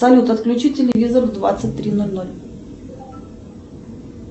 салют отключи телевизор в двадцать три ноль ноль